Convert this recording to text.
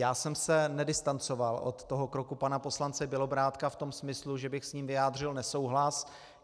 Já jsem se nedistancoval od toho kroku pana poslance Bělobrádka v tom smyslu, že bych s ním vyjádřil nesouhlas.